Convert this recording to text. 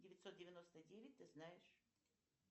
девятьсот девяносто девять ты знаешь